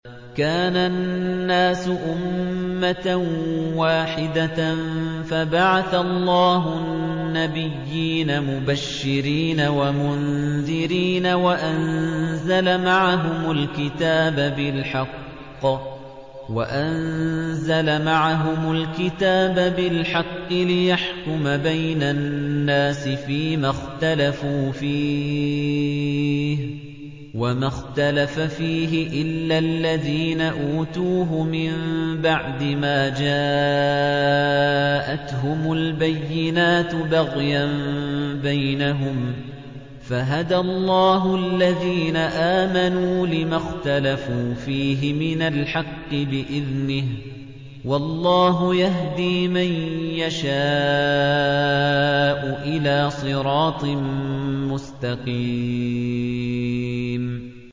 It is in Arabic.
كَانَ النَّاسُ أُمَّةً وَاحِدَةً فَبَعَثَ اللَّهُ النَّبِيِّينَ مُبَشِّرِينَ وَمُنذِرِينَ وَأَنزَلَ مَعَهُمُ الْكِتَابَ بِالْحَقِّ لِيَحْكُمَ بَيْنَ النَّاسِ فِيمَا اخْتَلَفُوا فِيهِ ۚ وَمَا اخْتَلَفَ فِيهِ إِلَّا الَّذِينَ أُوتُوهُ مِن بَعْدِ مَا جَاءَتْهُمُ الْبَيِّنَاتُ بَغْيًا بَيْنَهُمْ ۖ فَهَدَى اللَّهُ الَّذِينَ آمَنُوا لِمَا اخْتَلَفُوا فِيهِ مِنَ الْحَقِّ بِإِذْنِهِ ۗ وَاللَّهُ يَهْدِي مَن يَشَاءُ إِلَىٰ صِرَاطٍ مُّسْتَقِيمٍ